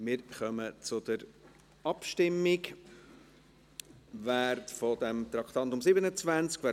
Wir kommen zur Abstimmung zum Traktandum 27.